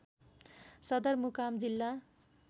सदरमुकाम जिल्ला